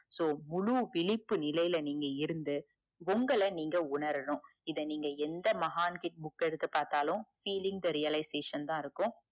so முழு விழிப்பு நிலையில இருந்து உங்கள நீங்க உணரனும் நீங்க எந்த மகான் கிட book அஹ் எடுத்து பாத்தாலும் feeling the realization தான் இருக்கும்